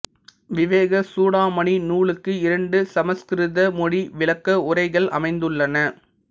விவேகசூடாமணி நூலுக்கு இரண்டு சமசுகிருத மொழி விளக்க உரைகள் அமைந்துள்ளன